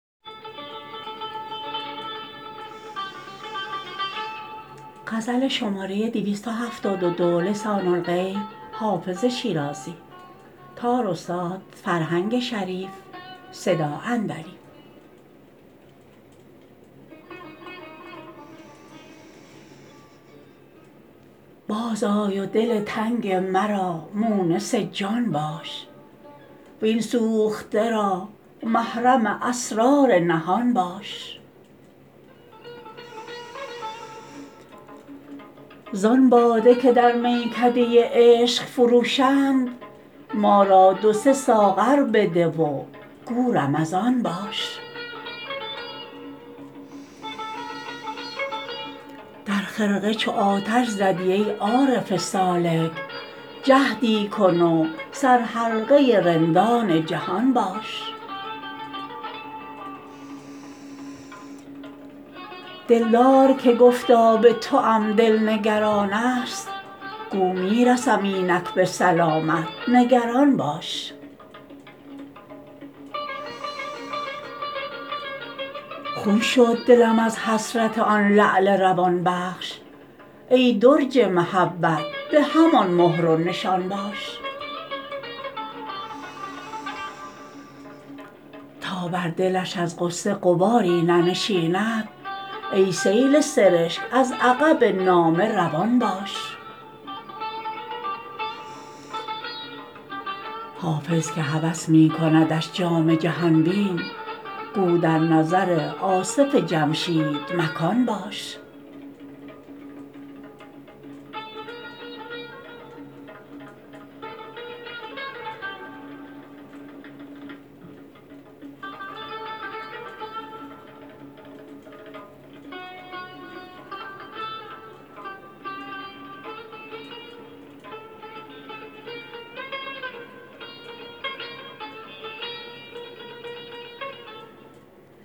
باز آی و دل تنگ مرا مونس جان باش وین سوخته را محرم اسرار نهان باش زان باده که در میکده عشق فروشند ما را دو سه ساغر بده و گو رمضان باش در خرقه چو آتش زدی ای عارف سالک جهدی کن و سرحلقه رندان جهان باش دلدار که گفتا به توام دل نگران است گو می رسم اینک به سلامت نگران باش خون شد دلم از حسرت آن لعل روان بخش ای درج محبت به همان مهر و نشان باش تا بر دلش از غصه غباری ننشیند ای سیل سرشک از عقب نامه روان باش حافظ که هوس می کندش جام جهان بین گو در نظر آصف جمشید مکان باش